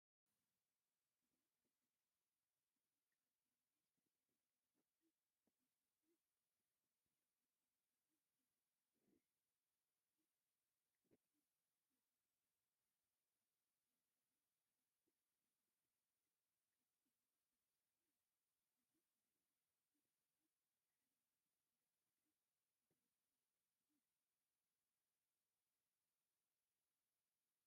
እዚ ካብ እምኒ ዝተሰርሑ ገዛውትን ብዕንጨይትን ሳዕርን ዝተሸፈኑ ቆርቆሮን የርኢ። ኣብ ውሽጢ ከብቲ ይጓስያ ኣለዋ፡ ቈልዑ ድማ ኣብ በሪኽ ቦታታት ኮፍ ኢሎም ይዕዘቡ ኣለዉ። እዚ ንህይወት ገጠርን ተፈጥሮን ሓድነት ስድራቤትን ብውዑይ መንገዲ ይገልጽ።